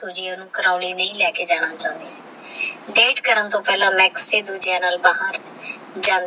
ਮਾਕ੍ਸ ਦੇਖਣ ਤੇਹ ਜਾਨ ਦਾ ਵੀ ਦੋੰ ਸੀ ਓਹ੍ਨ੍ਦਾ ਪੂਰਾ ਫੂ ਜਿਥੇ ਜਾਨ ਲੰਬਾ ਸੀ ਤੇਹ ਸੂਜੀ ਦਾ ਕੱਦ ਜਾਨ ਦੇ ਹਿੱਤ ਤੱਕ ਹੀ ਔਮ੍ਦਾ ਮਾਕ੍ਸ ਦ